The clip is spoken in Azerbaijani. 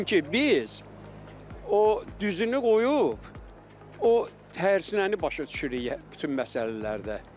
Çünki biz o düzünü qoyub, o hərcnəyi başa düşürük bütün məsələlərdə.